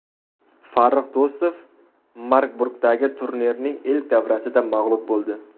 Farrux Do‘stov Marburgdagi turnirning ilk davrasida mag‘lub bo‘ldi.